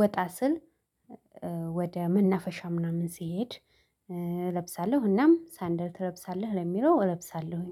ወጣ ስል ወደ መናፈሻ ምናምን ስሄድ እለብሳለሁ። እናም ሳንደል ትለብሳለህ ለሚለው እለብሳለሁኝ።